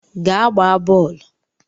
Gaa gbaa boolu!